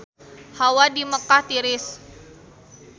Hawa di Mekkah tiris